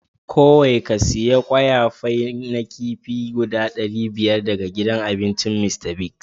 Kowai ka siya kwaya fai na kifi guda dari biyar daga gidan abincin Mr.Biggs.